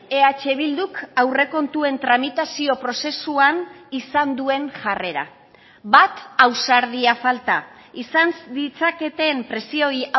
eh bilduk aurrekontuen tramitazio prozesuan izan duen jarrera bat ausardia falta izan ditzaketen presioei